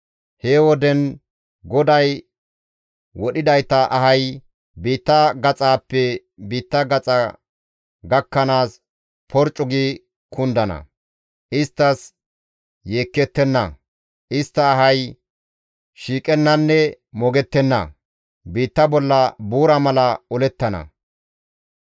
He woden GODAY wodhidayta ahay biitta gaxaappe biitta gaxa gakkanaas porccu gi kundana; isttas yeekettenna; istta ahay shiiqennanne moogettenna; biitta bolla buura mala olettana.